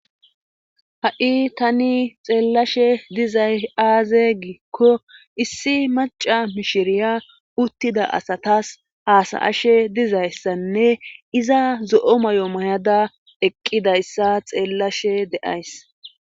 ha7i tani xeellashe dizay aaze giikko issi maca mishiriya uttida asatas haasayashe dizayssanne iza zo7o may7o mayada eqqidayssa xeellashe de7ays